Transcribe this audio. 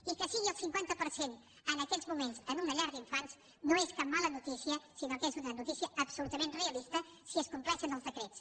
i que sigui el cinquanta per cent en aquests moments en una llar d’infants no és cap mala notícia sinó que és una notícia absolutament realista si es compleixen els decrets